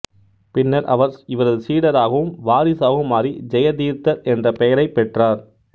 பின்னர் அவர் இவரது சீடராகவும் வாரிசாகவும் மாறி ஜெயதீர்த்தர் என்ற பெயரைப் பெற்றார்